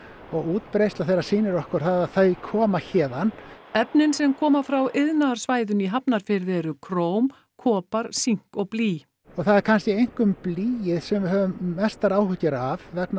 og útbreiðsla þeirra sýnir okkur að þau koma héðan efnin sem koma frá iðnaðarsvæðinu í Hafnarfirði eru króm kopar sink og blý og það er kannski einkum blýið sem við höfum mestar áhyggjur af vegna